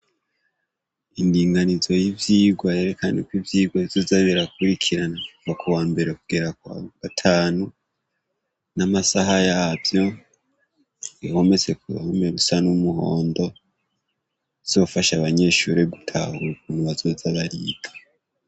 Indinganizo y'ivyigwa yerekan’uko ivyigwa bizoza birakurikirana kuva kuwambere kugera kwa gatanu n'amasaha yavyo bihomese kuruhome rusa n'umuhondo bizofash’ abanyeshuri gutahura ukuntu bazoza bariga.